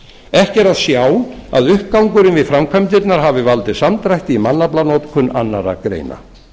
ekki er að sjá að uppgangurinn við framkvæmdirnar hafi valdið samdrætti í mannaflanotkun annarra greina